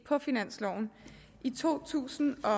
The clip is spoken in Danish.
på finansloven i to tusind og